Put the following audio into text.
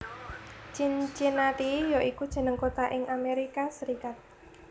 Cincinnati ya iku jeneng kota ing Amerika Serikat